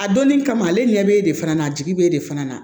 A donnin kama ale ɲɛ bɛ de fana na a jigi bɛ e de fana na